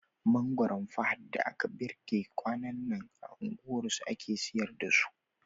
Mangoron Fahad da aka girbe kwanan nan, a unguwarsu ake siyar da su.